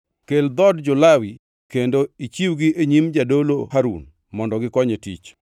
“Kel dhood jo-Lawi kendo ichiwgi e nyim jadolo Harun mondo gikonye tich.